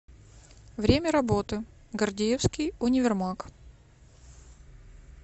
время работы гордеевский универмаг